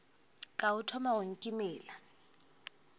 ka o thoma go nkimela